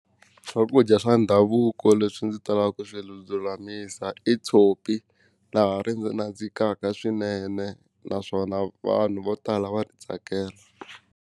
Swakudya swa ndhavuko leswi ndzi talaka ku swi lulamisa i tshopi laha ri nandzikaka swinene naswona vanhu vo tala va ri tsakela.